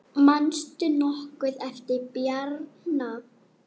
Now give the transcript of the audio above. Manstu nokkuð eftir Bjarna?